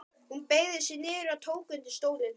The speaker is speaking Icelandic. Hún beygði sig niður og tók undir stólinn.